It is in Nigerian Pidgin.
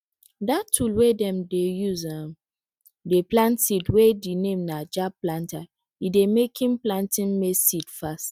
dat tool wey dem dey use um dey plant seeds wey de name na jab planter e dey making planting maize seed fast